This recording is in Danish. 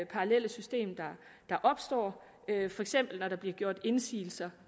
parallelle system der opstår for eksempel når der bliver gjort indsigelser